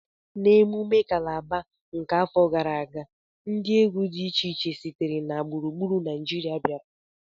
N'emume kalaba nke afọ gara aga, ndị egwu dị iche iche sitere na gburugburu Naịjirịa bịara